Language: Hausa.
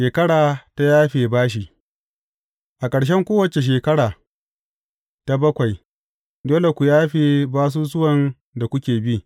Shekara ta yafe bashi A ƙarshen kowace shekara ta bakwai, dole ku yafe basusuwan da kuke bi.